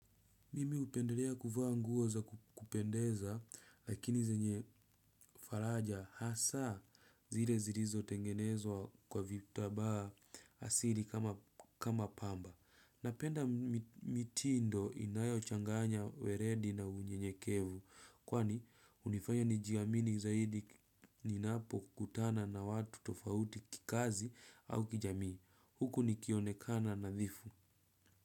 Mimi hupenderea kuvaa nguo za kupendeza lakini zenye faraja hasaa zile zirizotengenezwa kwa vitabaa asili kama pamba. Napenda mitindo inayochanganya weredi na unyenyekevu kwani unifanya nijiamini zaidi ninapokutana na watu tofauti kikazi au kijamii. Huku nikionekana nadhifu.